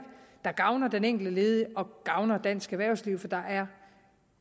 der gavner den enkelte ledige og gavner dansk erhvervsliv for der er